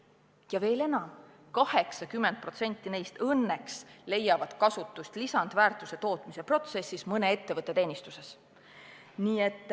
Ja veel enam, 80% neist õnneks leiavad kasutust lisandväärtuse tootmise protsessis mõne ettevõtte teenistuses.